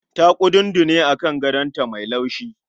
Ta kudundune a kan gadon ta mai laushi